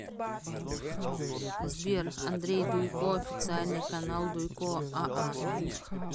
сбер андрей дуйко официальный канал дуйко а а